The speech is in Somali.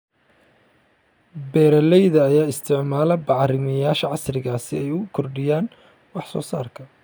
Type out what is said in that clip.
Beeralayda ayaa isticmaala bacrimiyeyaasha casriga ah si ay u kordhiyaan wax soo saarka.